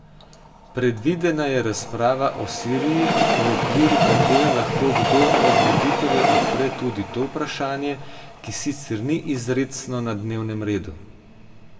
Predvidena je razprava o Siriji, v okviru katere lahko kdo od voditeljev odpre tudi to vprašanje, ki sicer ni izrecno na dnevnem redu.